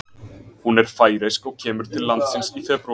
Hún er færeysk og kemur til landsins í febrúar.